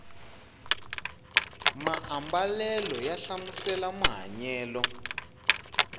maambalela ya hlamusela mahanyelo